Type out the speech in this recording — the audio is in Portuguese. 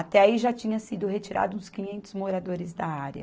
Até aí já tinha sido retirado uns quinhentos moradores da área.